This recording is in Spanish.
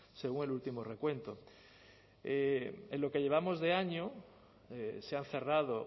según el último recuento en lo que llevamos de año se han cerrado